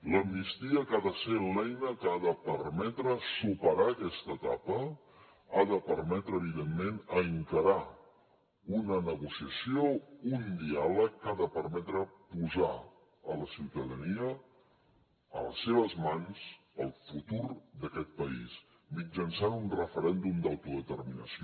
l’amnistia que ha de ser l’eina que ha de permetre superar aquesta etapa ha de permetre evidentment encarar una negociació un diàleg que ha de permetre posar en la ciutadania a les seves mans el futur d’aquest país mitjançant un referèndum d’autodeterminació